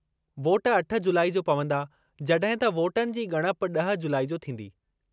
Vote अठ जुलाई जो पवंदा जड॒हिं त वोटनि जी ॻणप ॾह जुलाई जो थींदी।